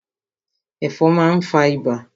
Ẹ̀fọn má n fa ibà.